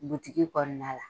kɔnɔna la.